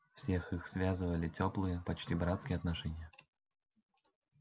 всех их связывали тёплые почти братские отношения